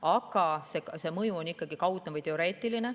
Aga see mõju on ikkagi kaudne või teoreetiline.